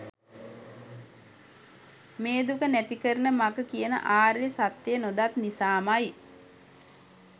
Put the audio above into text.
මේ දුක නැතිකරන මඟ කියන ආර්ය සත්‍යය නොදත් නිසාම යි.